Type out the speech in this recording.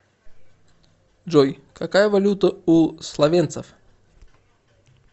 джой какая валюта у словенцев